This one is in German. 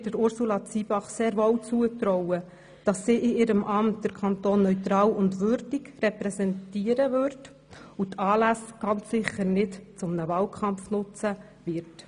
Wir trauen Ursula Zybach sehr wohl zu, dass sie in ihrem Amt den Kanton neutral und würdig repräsentieren und die Anlässe ganz sicher nicht zum Wahlkampf nutzen wird.